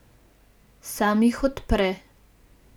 Sam jih odpre.